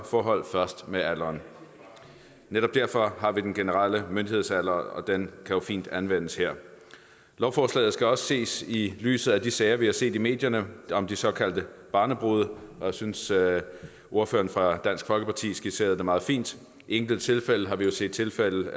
forhold først med alderen netop derfor har vi den generelle myndighedsalder og den kan jo fint anvendes her lovforslaget skal også ses i lyset af de sager vi har set i medierne om de såkaldte barnebrude og jeg synes at ordføreren for dansk folkeparti skitserede det meget fint i enkelte tilfælde har vi jo set tilfælde